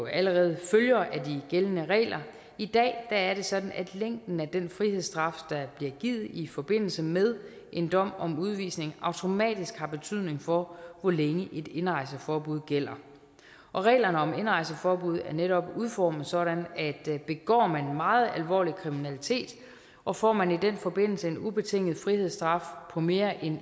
allerede følger af de gældende regler i dag er det sådan at længden af den frihedsstraf der bliver givet i forbindelse med en dom om udvisning automatisk har betydning for hvor længe et indrejseforbud gælder og reglerne om indrejseforbud er netop udformet sådan at begår man meget alvorlig kriminalitet og får man i den forbindelse en ubetinget frihedsstraf af mere end